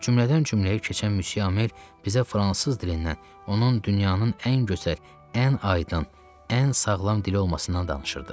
Cümlədən cümləyə keçən Müsyö Amel bizə fransız dilindən, onun dünyanın ən gözəl, ən aydın, ən sağlam dili olmasından danışırdı.